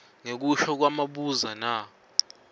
ngekusho kwamabuza m